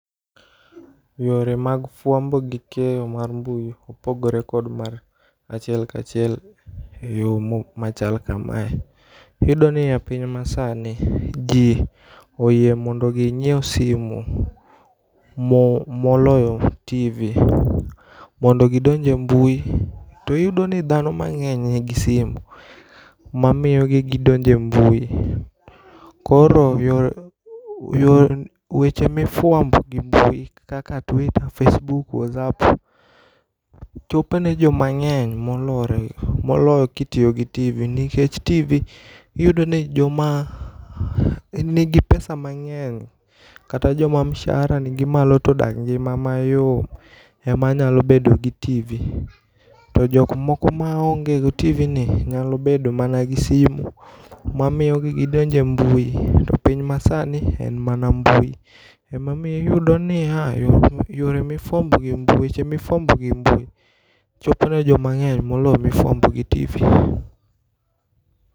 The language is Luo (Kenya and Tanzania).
Yore mag fwambo gi keyo mar mbui opogore kod mar achiel kachiel e yo mo machal kamae. Iyudo ni e piny masani, ji oyie mondo ginyiew simu mo moloyo TV mondo gidonj e mbui. To iyudo ni dhano mang'eny nigi simu ma miyo gidonje mbui. Koro yore yo weche mifwambo gi mbui kaka Twita, Facebook, Wazap, chopo ne joma ng'eny molore moloyo kitiyo gi TV. Nikech TV iyudo ni joma nigi pesa mang'eny, kata joma mshahara gi nigi malo todak ngima mayom, ema nyalo bedo gi TV. To jok moko ma onge TV ni, nyalo bedo mana gi simu. Ma miyogi gidonje mbui, to piny ma sani, en mana mbui. Emomiyo iyudo niya, iyudo niya, yore mifwambo gi e mbui, weche mifwambo gi embui, chopo ne ji mang'eny moloyo mifwambo gi TV.